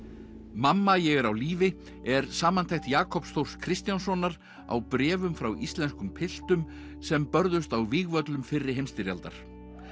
mamma ég er á lífi er samantekt Jakobs Þórs Kristjánssonar á bréfum frá íslenskum piltum sem börðust á vígvöllum fyrri heimsstyrjaldar